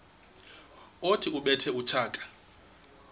othi ubethe utshaka